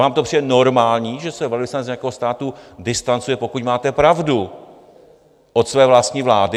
Vám to přijde normální, že se velvyslanec nějakého státu distancuje, pokud máte pravdu, od své vlastní vlády?